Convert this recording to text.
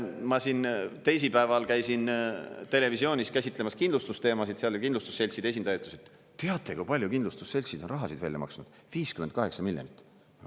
Ma siin teisipäeval käisin televisioonis käsitlemas kindlustusteemasid seal ja kindlustusseltside esindaja ütles, et teate, kui palju kindlustusseltsid on rahasid välja maksnud: 58 miljonit eurot.